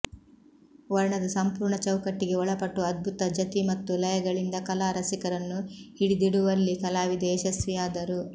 ವರ್ಣದ ಸಂಪೂರ್ಣ ಚೌಕಟ್ಟಿಗೆ ಒಳಪಟ್ಟು ಅದ್ಭುತ ಜತಿ ಮತ್ತು ಲಯಗಳಿಂದ ಕಲಾ ರಸಿಕರನ್ನು ಹಿಡಿದಿಡುವಲ್ಲಿ ಕಲಾವಿದೆ ಯಶಸ್ವಿಯಾದರು